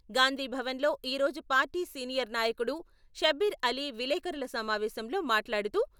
గాంధీభవన్ లో ఈరోజు party senior నాయకుడు షబ్బీర్ అలీ విలేఖరుల సమావేశంలో మాట్లాడుతూ...